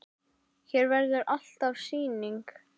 Hér verður alltaf sýning.